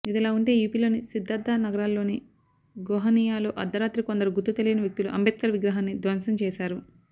ఇదిలా ఉంటే యూపీలోని సిద్ధార్థ నగర్లోని గోహనియాలో అర్ధరాత్రి కొందరు గుర్తు తెలియని వ్యక్తులు అంబేద్కర్ విగ్రహాన్ని ధ్వంసం చేశారు